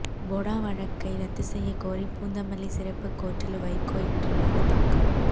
பொடா வழக்கை ரத்து செய்யகோரி பூந்தமல்லி சிறப்பு கோர்ட்டில் வைகோ இன்று மனு தாக்கல்